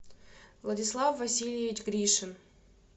владислав васильевич гришин